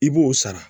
I b'o sara